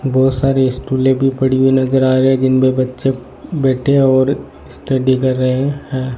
बहोत सारे स्टूलें भी पड़ी हुई नजर आ रहे हैं जिनमें बच्चे बैठे हैं और स्टडी कर रहे हैं।